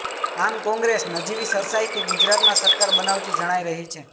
આમ કોંગ્રેસ નજીવી સરસાઇથી ગુજરાતમાં સરકાર બનાવતી જણાઇ રહી છે